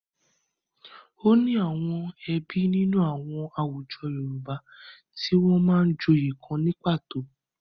O ní àwọn ẹbí nínú àwọn àwùjọ Yorùbá tí wọ́n máa ń joyè kan ni pàtó.